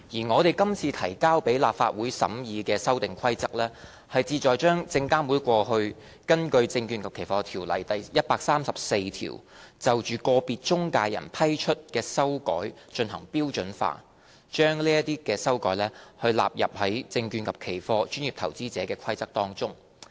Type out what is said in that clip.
我們今次提交立法會審議的《2018年證券及期貨規則》，旨在把證監會過去根據《證券及期貨條例》第134條就個別中介人批出的修改進行標準化，以及把這些修改納入《證券及期貨規則》。